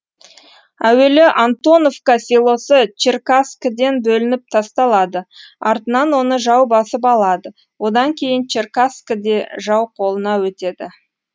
әуелі антоновка селосы черкасскіден бөлініп тасталады артынан оны жау басып алады одан кейін черкасскі де жау қолына өтеді